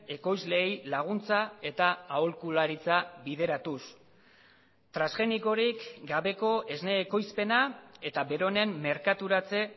ekoizleei laguntza eta aholkularitza bideratuz transgenikorik gabeko esne ekoizpena eta beronen merkaturatze